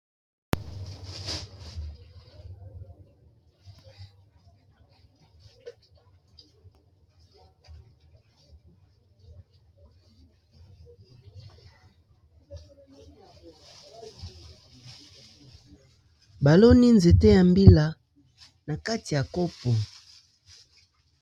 Baloni nzete ya mbila na kati ya kopo.